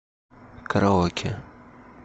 караоке